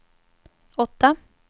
åtta